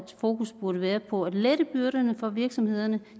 fokus burde være på at lette byrderne for virksomhederne